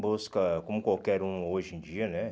Busca, como qualquer um hoje em dia, né?